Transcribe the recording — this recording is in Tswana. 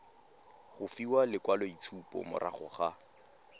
go fiwa lekwaloitshupo morago ga